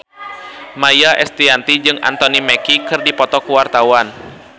Maia Estianty jeung Anthony Mackie keur dipoto ku wartawan